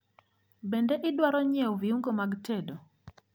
Bende idwaro nyiewo viungo mag tedo?